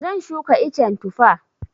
Zan shuka icen Tufa.